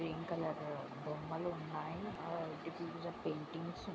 green colour బొమ్మలు వున్నాయ్ ఆ పెయింటింగ్స్ --